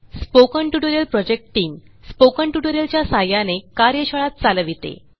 spoken tutorial project team spoken tutorial च्या सहाय्याने कार्यशाळा चालविते